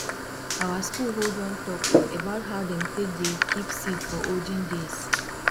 our school hold one talk about how dem take dey keep seed for olden days